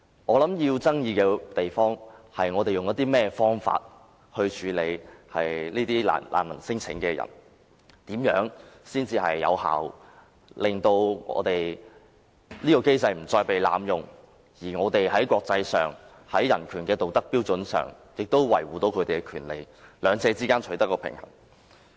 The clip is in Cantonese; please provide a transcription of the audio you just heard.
需要爭議的地方是我們應以甚麼方法處理聲稱是難民的人士，怎樣才能有效地令機制不再被濫用，而香港又能在國際間的人權道德標準上維護他們的權利，在兩者之間取得平衡。